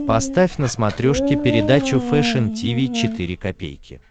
поставь на смотрешке передачу фэшн ти ви четыре ка